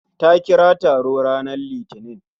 Ta kira taro ranar litinin